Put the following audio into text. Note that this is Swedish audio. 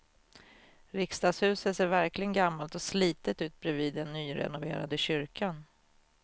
Riksdagshuset ser verkligen gammalt och slitet ut bredvid den nyrenoverade kyrkan.